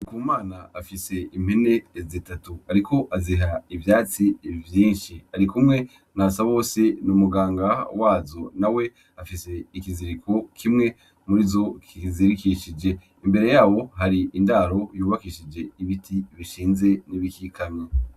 Ndikumana afise impene zitatu. Ariko aziha ivyatsi vyinshi arikumwe na Basabose, ni umuganga wazo, nawe afise ikiziriko kimwe murizo kizizirikishe. Imbere yabo hari indaro yubakishije ibiti bishinze n'ibikikamye.